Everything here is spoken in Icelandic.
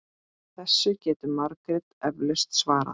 Þessu getur Margrét eflaust svarað.